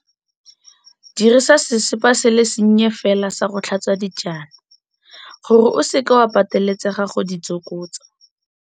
Dirisa sesepa se le sennye fela sa go tlhatswa dijana, gore o seka wa pateletsega go di tsokotsa.